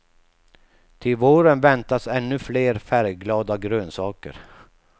Till våren väntas ännu fler färgglada grönsaker.